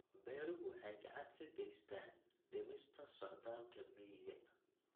Beeruhu waxay gacan ka geystaan ??dhimista socdaalka miyiga.